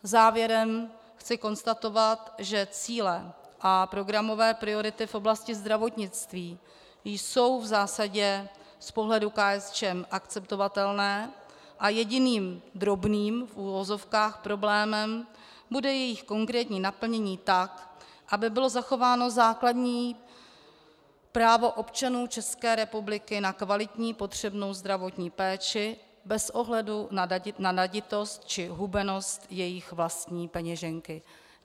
Závěrem chci konstatovat, že cíle a programové priority v oblasti zdravotnictví jsou v zásadě z pohledu KSČM akceptovatelné a jediným drobným, v uvozovkách, problémem bude jejich konkrétní naplnění tak, aby bylo zachováno základní právo občanů České republiky na kvalitní potřebnou zdravotní péči bez ohledu na naditost či hubenost jejich vlastní peněženky.